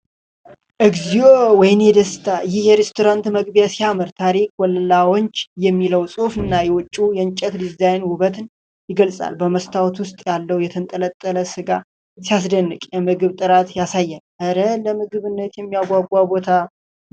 እግዚኦ! ወይኔ ደስታ! ይህ የሬስቶራንት መግቢያ ሲያምር! 'ታሪክ ላውንጅ' የሚለው ጽሑፍና የውጭው የእንጨት ዲዛይን ውበትን ይገልጻል። በመስታወት ውስጥ ያለው የተንጠለጠለ ስጋ ሲያስደንቅ፣ የምግብ ጥራትን ያሳያል። እረ! ለምግብነት የሚያጓጓ ቦታ ነው።